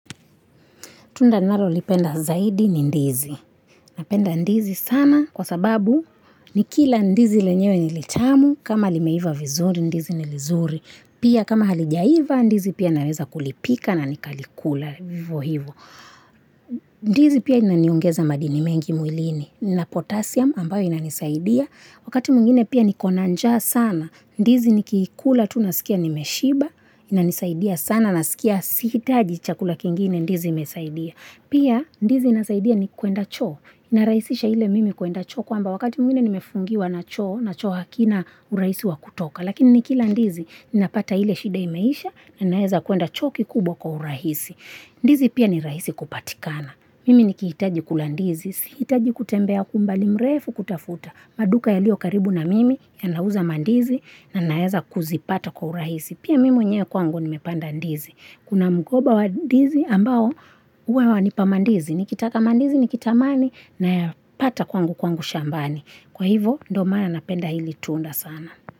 Tunda nalo lipenda zaidi ni ndizi. Napenda ndizi sana kwa sababu ni kila ndizi lenyewe nilitamu kama limeiva vizuri ndizi nilizuri. Pia kama halijaiva ndizi pia naweza kulipika na nikalikula hivo hivo. Ndizi pia inaniongeza madini mengi mwilini ina potassium ambayo inanisaidia. Wakati mwingine pia nikonanja sana ndizi nikiikula tunasikia nimeshiba inanisaidia sana na sikia sihitaji chakula kingine ndizi imesaidia. Pia, ndizi inasaidia ni kuenda choo. Inarahisisha ile mimi kuenda choo kwamba wakati mwingine nimefungiwa na choo, na choo hakina urahisi wa kutoka. Lakini ni kila ndizi, ninapata ile shida imeisha na naeza kwenda choo kikubwa kwa urahisi. Ndizi pia ni rahisi kupatikana. Mimi niki hitaji kula ndizi, si hitaji kutembea kwa umbali mrefu kuitafuta. Maduka yaliyo karibu na mimi ya nauza mandizi na naweza kuzipata kwa uraisi. Pia mimi mwenyewe kwangu nimepanda ndizi. Kuna mgoba wa ndizi ambao huwa wanipamandizi. Nikitaka kama ndizi nikitamani naya pata kwangu kwangu shambani. Kwa hivo ndio maana na penda hili tunda sana.